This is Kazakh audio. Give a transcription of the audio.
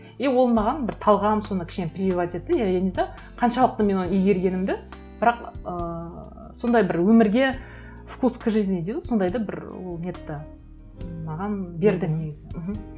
и ол маған бір талғам сондай кішкене прививать етті я не знаю қаншалықты мен оны игергенімді бірақ ыыы сондай бір өмірге вкус к жизни дейді ғой сондайды бір ол нетті маған берді негізі мхм